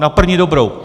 Na první dobrou.